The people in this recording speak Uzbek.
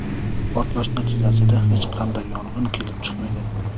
Portlash natijasida hech qanday yong‘in kelib chiqmagan.